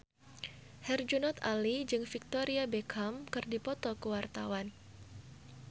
Herjunot Ali jeung Victoria Beckham keur dipoto ku wartawan